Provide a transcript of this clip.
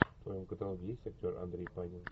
в твоем каталоге есть актер андрей панин